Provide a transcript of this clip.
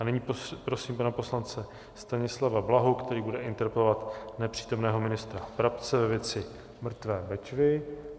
A nyní prosím pana poslance Stanislava Blahu, který bude interpelovat nepřítomného ministra Brabce ve věci mrtvé Bečvy.